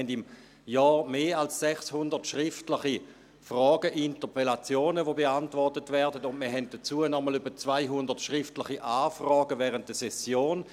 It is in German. Wir haben im Jahr mehr als 600 schriftliche Fragen, Interpellationen, die beantwortet werden, und wir haben dazu noch einmal etwa 200 schriftliche Anfragen während der Session.